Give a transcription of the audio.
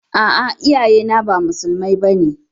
A'a, iyaye na ba musulmai ba ne.